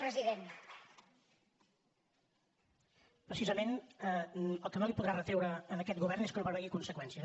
precisament el que no podrà retreure a aquest govern és que no prevegi conseqüències